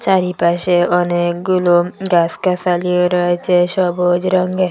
চারিপাশে অনেকগুলো গাস গাসালিও রয়েছে সবুজ রঙ্গে--